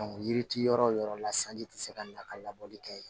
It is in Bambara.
yiri ti yɔrɔ yɔrɔ la sanji tɛ se ka na ka labɔli kɛ yen